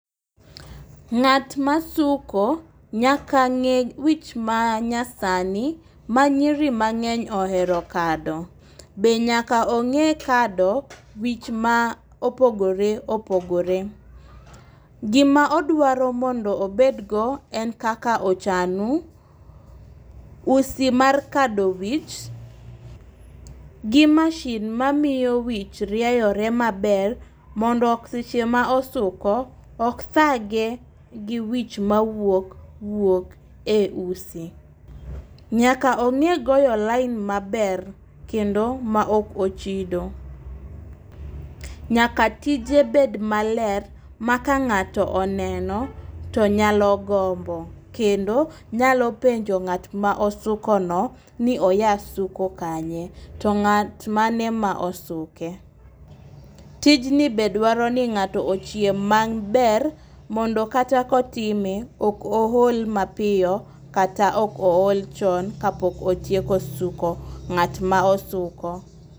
Ng'at masuko nyaka ng'e wich ma nyasani ma nyiri mang'eny ohero kado . Be nyaka ong'e kado wich ma opogore opogore .Gima odwaro mondo obed go en kaka ochanu, usi mar kado wich, gi masin mamiyo wich rieyore maber mondo seche ma osuko ok thage gi wich ma wuok wuok e usi . Nyaka ong'e goyo lain maber kendo ma ok ochido. Nyaka tije bed maler ma ka ng'ato oneno to nyalo gombo kendo nyalo penjo ng'at ma osuko no ni oya suko kanye to ng'at mane ma osuke .Tijni be dwaro ni ng'ato ochieng' mang' maber mondo kata kotime to ok ool mapiyo kata ok ool chon kapok otieko suko ng'at ma osuko.